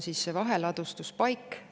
Seal on vaheladustuspaik.